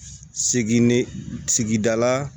Segin de sigida la